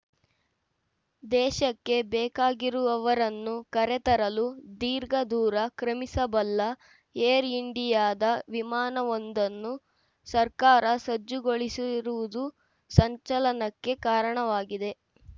ದೇಶಕ್ಕೆ ಬೇಕಾಗಿರುವವರನ್ನು ಕರೆತರಲು ದೀರ್ಘದೂರ ಕ್ರಮಿಸಬಲ್ಲ ಏರ್‌ ಇಂಡಿಯಾದ ವಿಮಾನವೊಂದನ್ನು ಸರ್ಕಾರ ಸಜ್ಜುಗೊಳಿಸಿರುವುದು ಸಂಚಲನಕ್ಕೆ ಕಾರಣವಾಗಿದೆ